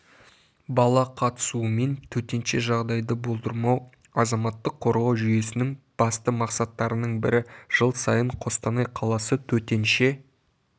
бала қатысуымен төтенше жағдайды болдырмау азаматтық қорғау жүйесінің басты мақсаттарының бірі жыл сайын қостанай қаласы төтенше